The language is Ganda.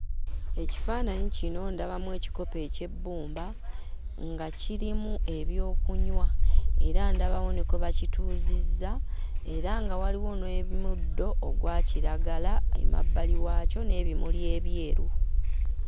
Ekifaananyi kino ndabamu ekikopo eky'ebbumba nga kirimu ebyokunywa era ndabawo ne kwe bakituuzizza era nga waliwo nwe muddo ogwa kiragala emabbali waakyo n'ebimuli ebyeru.